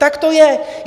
Tak to je.